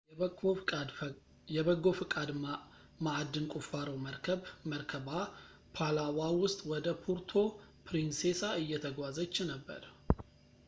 የበጎ ፈቃድ ማዕድን ቁፋሮ መርከብ መርከቧ ፓላዋ ውስጥ ወደ ፑርቶ ፕሪንሴሳ እየተጓዘች ነበር